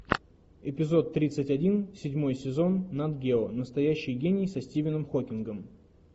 эпизод тридцать один седьмой сезон нат гео настоящий гений со стивеном хокингом